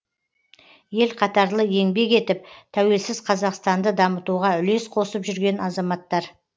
ел қатарлы еңбек етіп тәуелсіз қазақстанды дамытуға үлес қосып жүрген азаматтар